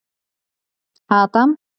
Adam